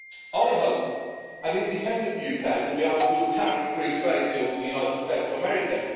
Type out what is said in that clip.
I hope an independent UK will be able to do a tariff free trade deal with the United States of America.